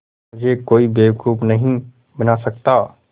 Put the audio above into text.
मुझे कोई बेवकूफ़ नहीं बना सकता